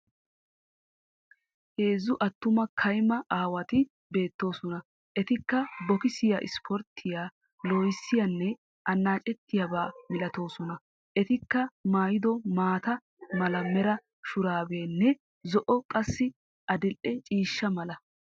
Heezzu attuma kaymma aawati beettoosona. Ettikka bokissiya sporttiyaa loohissiyaanne anaacettiyabaa milatoosona. Etikka mayido maata mala mera shuraabiyanne, zo'o' qassi adildhdhe ciishsha mala.